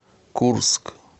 курск